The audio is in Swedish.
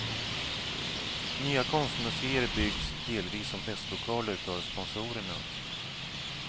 Nya konstmuseer byggs delvis som festlokaler för sponsorerna.